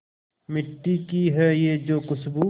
मिट्टी की है जो खुशबू